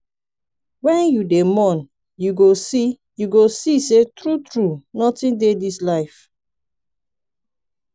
wen you dey mourn you go see you go see sey true-true notin dey dis life.